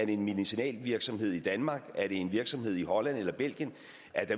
i en medicinalvirksomhed i danmark i en virksomhed i holland eller i belgien